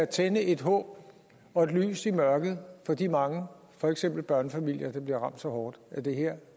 tænde et håb og et lys i mørket for de mange for eksempel børnefamilier der bliver ramt så hårdt af det her